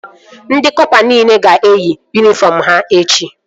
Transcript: Ndị kọpa nile ga-eyi yunifọm ha echi